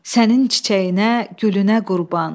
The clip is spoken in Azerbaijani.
Sənin çiçəyinə, gülünə qurban.